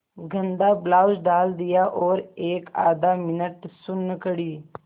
गंदा ब्लाउज डाल दिया और एकआध मिनट सुन्न खड़ी